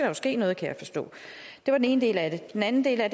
jo ske noget kan jeg forstå det var den ene del af det den anden del af